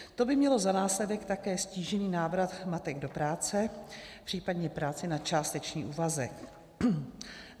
To by mělo za následek také ztížený návrat matek do práce, případně práci na částečný úvazek.